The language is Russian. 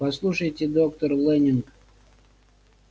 послушайте доктор лэннинг